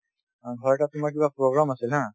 অ, ঘৰতে তোমাৰ কিবা program আছিল haa